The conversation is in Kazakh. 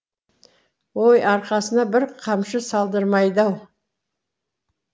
ой арқасына бір қамшы салдырмайды ау